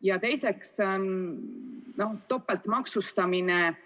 Ja topeltmaksustamine